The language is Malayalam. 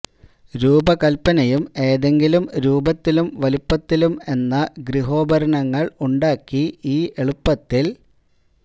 രൂപകൽപ്പനയും ഏതെങ്കിലും രൂപത്തിലും വലുപ്പത്തിലും എന്ന ഗൃഹോപകരണങ്ങൾ ഉണ്ടാക്കി ഈ എളുപ്പത്തിൽ